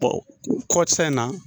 kɔsan in na